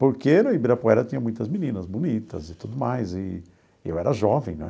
Porque no Ibirapuera tinha muitas meninas bonitas e tudo mais, e eu era jovem, né?